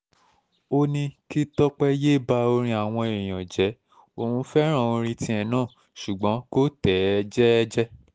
ó ní kí tọ́pẹ́ yéé bá orin àwọn èèyàn jẹ́ òun fẹ́ràn orin tiẹ̀ náà ṣùgbọ́n kò tẹ̀ ẹ́ jẹ́ẹ́jẹ́